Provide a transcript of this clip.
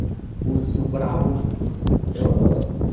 Um urso bravo, então...